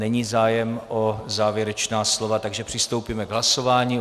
Není zájem o závěrečná slova, takže přistoupíme k hlasování.